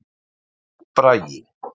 Bragi